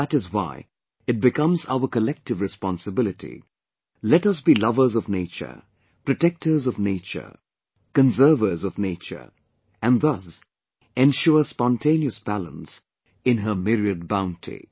And that is why it becomes our collective responsibility... Let us be lovers of nature, protectors of Nature, conservers of Nature... and thus, ensure spontaneous balance in her myriad bounty